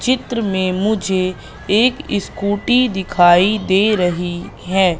चित्र में मुझे एक स्कूटी दिखाई दे रही है।